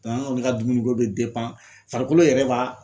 an kɔni ka dumuni ko bɛ farikolo yɛrɛ b'a